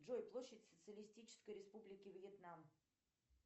джой площадь социалистической республики вьетнам